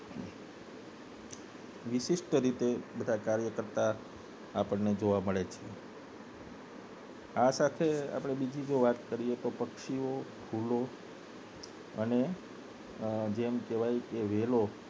વિશિષ્ટ રીતે બધા કાર્ય કરતા આપને જોવા મળે છે આ સાથે આપને બીજી જો વાત કરીએ તો પક્ષીઓ ફૂલો અને જેમ કહેવાય વેલો